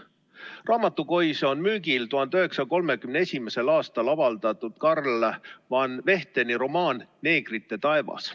Raamatukois on müügil 1931. aastal avaldatud Carl van Vechteni romaan "Neegrite taevas".